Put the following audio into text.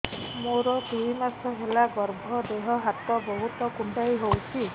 ମୋର ଦୁଇ ମାସ ହେଲା ଗର୍ଭ ଦେହ ହାତ ବହୁତ କୁଣ୍ଡାଇ ହଉଚି